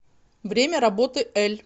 время работы эль